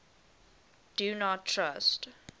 do not trust